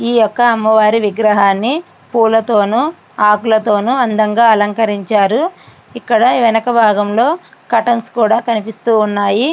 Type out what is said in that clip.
ఈ యొక్క అమ్మవారి విగ్రహాన్ని పూలతోనే ఆకులతోనే ఎంతో అందంగా అలంకరించారు. ఇక్కడ వెనక భాగంలో కర్టైన్స్ కూడ కనిపిస్తూ ఉన్నాయి.